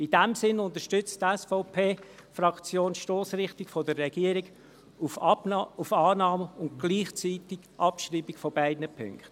In diesem Sinn unterstützt die SVP-Fraktion die Stossrichtung der Regierung auf Annahme und gleichzeitige Abschreibung beider Punkte.